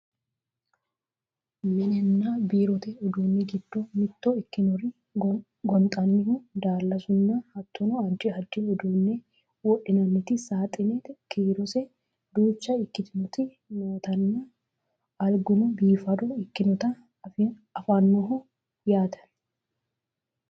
mininna biirote uduunni giddo mitto ikkinori gonxannihu daallasunna hattono addi addi uduunne wodhinanniti saaxine kiirose duucha ikkitinoti nootanna alguno biifado ikkinota anfanniho yaate